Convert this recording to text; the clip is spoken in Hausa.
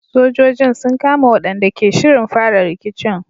Sojojin sun kama waɗanda ke shirin fara rikicin.